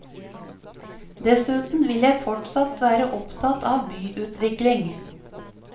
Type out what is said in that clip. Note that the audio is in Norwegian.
Dessuten vil jeg fortsatt være opptatt av byutvikling.